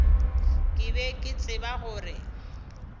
ke be ke tseba gore